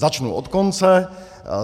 - Začnu od konce.